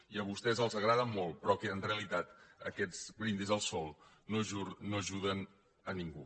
i a vostès els agrada molt però que en realitat aquests brindis al sol no ajuden a ningú